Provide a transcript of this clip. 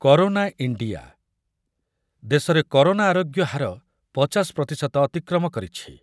Corona India, ଦେଶରେ corona ଆରୋଗ୍ୟ ହାର ପଚାଶ ପ୍ରତିଶତ ଅତିକ୍ରମ କରିଛି ।